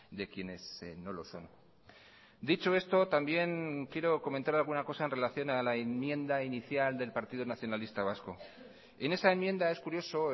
de quienes no lo son dicho esto también quiero comentar alguna cosa en relación a la enmienda inicial del partido nacionalista vasco en esa enmienda es curioso